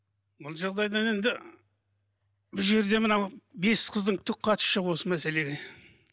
бұл жағдайдан енді бұл жерде мынау бес қыздың түк қатысы жоқ осы мәселеге